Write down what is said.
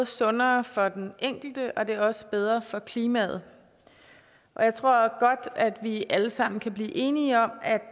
sundere for den enkelte og det er også bedre for klimaet jeg tror godt at vi alle sammen kan blive enige om